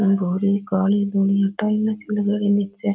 भूरी काली भूरी टाईला सी लगा राखी निचे।